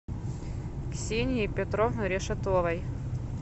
ксении петровны решетовой